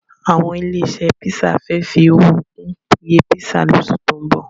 Àwọn ilé-iṣẹ́ písà fẹ́ fi owó kún iye písà lóṣù tó ń bọ̀.